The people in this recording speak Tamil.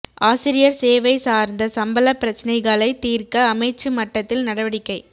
ஆசிரியர் சேவை சார்ந்த சம்பளப் பிரச்சினைகளைத் தீர்க்க அமைச்சு மட்டத்தில் நடவடிக்கை